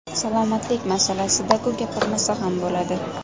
Salomatlik masalasida-ku, gapirmasa ham bo‘ladi.